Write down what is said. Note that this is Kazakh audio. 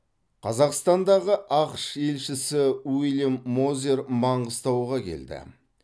қазақстандағы ақш елшісі уильям мозер маңғыстауға келді